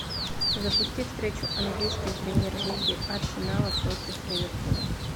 запусти встречу английской премьер лиги арсенала против ливерпуля